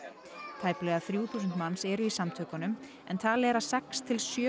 tæplega þrjú þúsund manns eru í samtökunum en talið er að sex til sjö